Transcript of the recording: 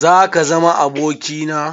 Zaka zama aboki na?